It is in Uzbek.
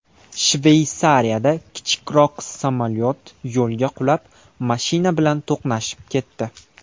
Shveysariyada kichikroq samolyot yo‘lga qulab, mashina bilan to‘qnashib ketdi.